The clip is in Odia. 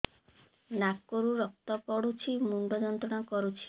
ନାକ ରୁ ରକ୍ତ ପଡ଼ୁଛି ମୁଣ୍ଡ ଯନ୍ତ୍ରଣା କରୁଛି